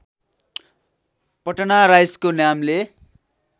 पटना राइसको नामले